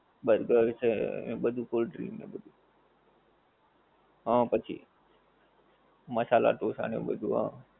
burger છે એવું બધું cold drink ને બધું, હા પછી મસાલા ઢો સા ને બધું હા